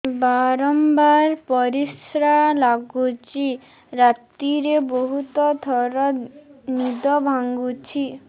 ବାରମ୍ବାର ପରିଶ୍ରା ଲାଗୁଚି ରାତିରେ ବହୁତ ଥର ନିଦ ଭାଙ୍ଗୁଛି